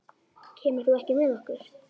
Kemur þú ekki með okkur?